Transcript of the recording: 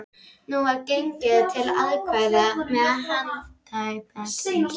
Nú var gengið til atkvæða með handauppréttingu.